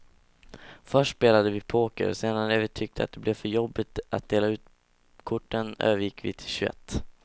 Först spelade vi poker, sedan när vi tyckte att det blev för jobbigt att dela ut korten övergick vi till tjugoett.